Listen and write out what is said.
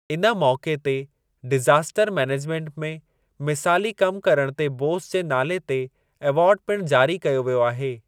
इन मौक़े ते डिज़ास्टर मैनेजमेन्ट में मिसाली कमु करण ते बोस जे नाले ते एवार्डु पिणु जारी कयो वियो आहे।